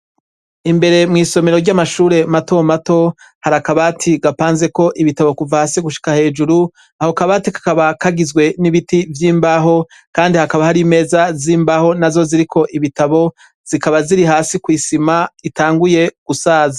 Imbere mw'isomero ry'amashure mato mato, hari akabati gapanzeko ibitabo, kuva hasi gushika hejuru. Ako kabati kakaba kagizwe n'ibiti vy'imbaho, kandi hakaba hari imeza z'imbaho nazo ziriko ibitabo, zikaba zi'iri hasi kw'isima itanguye gusaza.